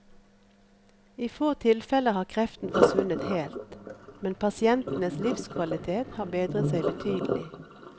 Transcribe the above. I få tilfeller har kreften forsvunnet helt, men pasientenes livskvalitet har bedret seg betydelig.